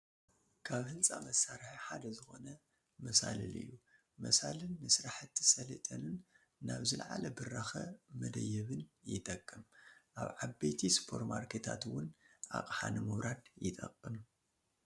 ካብ ህንፃ መሳርሒ ሓደ ዝኾነ መሰላል እዩ፡፡ መሰላል ንስራሕቲ ሰለጤንን ናብ ዝላዓለ ብራኸ መደየቢብን ይጠቅም፡፡ ኣብ ዓበይቲ ሱፐርማርኬታት እውን ኣቕሓ ንምውራድ ይጠቅም፡፡